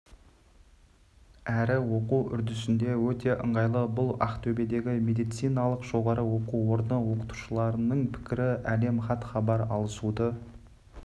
әрі оқу үрдісінде өте ыңғайлы бұл ақтөбедегі медициналық жоғары оқу орны оқытушыларының пікірі әлем хат-хабар алысуды